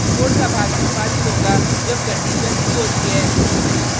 code का भाग निष्पादित होगा जब कंडिशन true होती है